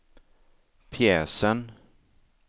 pjäsen